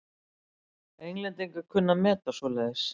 Englendingar kunna að meta svoleiðis.